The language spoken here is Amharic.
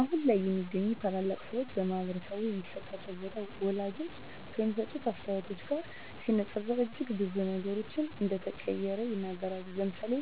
አሁን ላይ የሚገኙ ታላላቅ ሰወች በማህበረሰቡ የሚሰጣቸው ቦታ ወላጆች ከሚሰጡት አስተያየት ጋር ሲነፃፀር እጅግ ብዙ ነገሮች እንደተቀየረ ይናገራሉ። ለምሳሌ